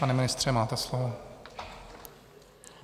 Pane ministře, máte slovo.